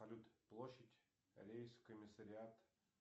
салют площадь рейс комиссариат